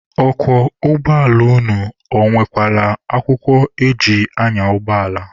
Ọkwọ ụgbọala unu, ọ nwekwala akwụkwọ eji anya ụgbọala?